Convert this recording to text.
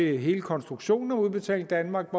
hele konstruktionen af udbetaling danmark